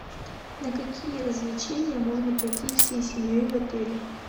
на какие развлечения можно пойти всей семьей в отеле